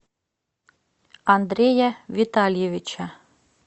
андрея витальевича